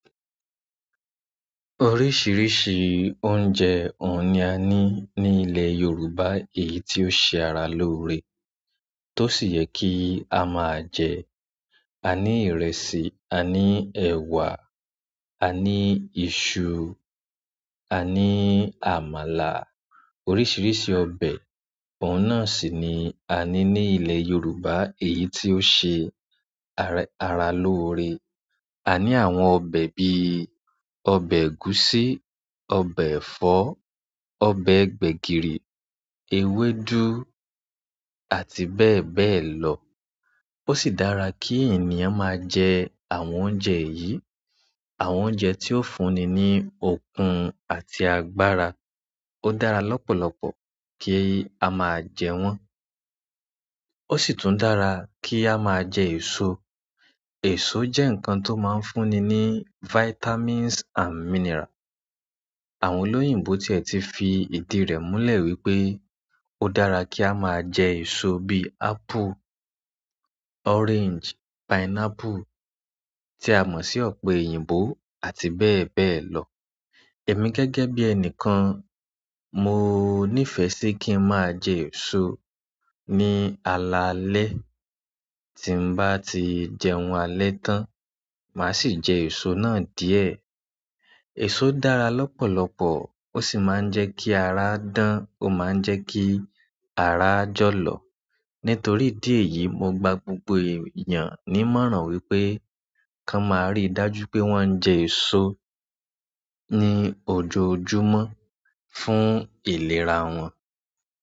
Oríṣìíríṣìí oúnjẹ òun ni a ní ní ilẹ̀ Yorùbá èyí tó ṣe ara lóore. Tó sì yẹ kí a máa jẹ. A ní ìrẹsì, a ní ẹ̀wà, a ní iṣu, a ní àmàlà. Oríṣìíríṣìí ọbẹ̀ òun náà sì ni a ní ní ilẹ̀ Yorùbá èyí tó ṣe ara lóore. A ní àwọn ọbẹ̀ bí ọbẹ̀ ẹ̀gúsí, ọbẹ̀ ẹ̀fọ́, ọbẹ̀ gbẹ̀gìrì, ewédú àti bẹ́ẹ̀ bẹ́ẹ̀ lọ. Ó sì dára kí ènìyàn máa jẹ àwọn oúnjẹ yìí. Àwọn oúnjẹ tí ó fúnni ní okun àti agbára. Ó dára lọ́pọ̀lọpọ̀ kí a máa jẹ wọ́n. Ó sì tún dára kí a máa jẹ èso. Èso jẹ́ nǹkan tó máa ń fúnni ní vitamins and mineral. Àwọn olóyìnbo tiẹ ti fi ìdí rẹ̀ múlẹ̀ wípé ó dára kí á máa jẹ èso bí apple, orange, pineapple tí a mọ̀ sí ọ̀pẹ-eyìnbó àti bẹ́ẹ̀ bẹ́ẹ̀ lọ. Èmi gẹ́gẹ́ bí ẹnìkan, mo nífẹ̀ẹ́ sí kí ń máa jẹ èso ní alaalẹ́. Tí n bá ti jẹun alẹ́ tán, màá sì jẹ èso náà díẹ̀. Èso dára lọ́pọ̀lọpọ̀ ó sì máa ń jẹ́ kí ara dán, ó máa ń jẹ́ kí ara jọ̀lọ̀. Nítorí ìdí èyí, mo gba gbogbo èèyàn ní ìmọ̀ràn wípé kí wọ́n máa rí dájú pé wọ́n ń jẹ èso ní ojoojúmọ́ fún ìlera wọn.